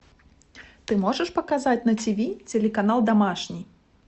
ты можешь показать на тиви телеканал домашний